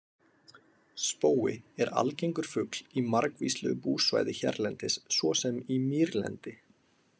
Spói er algengur fugl í margvíslegu búsvæði hérlendis svo sem í mýrlendi.